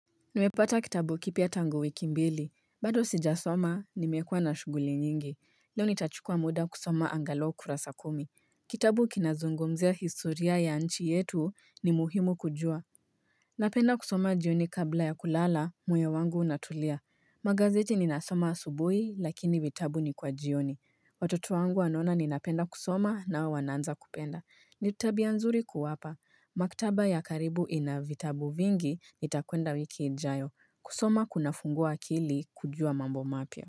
Nimepata kitabu kipya tangu wiki mbili, bado sijasoma nimekua na shughuli nyingi, leo nitachukua muda kusoma angalo kurasa kumi. Kitabu kinazungomzea historia ya nchi yetu ni muhimu kujua Napenda kusoma jioni kabla ya kulala moyo wangu unatulia magazeti ninasoma asubui lakini vitabu ni kwa jioni Watoto wangu anona ninapenda kusoma na wanaanza kupenda Nitabia nzuri kuwapa. Maktaba ya karibu inavitabu vingi nitakwenda wiki jayo. Kusoma kuna fungoa akili kujua mambo mapya.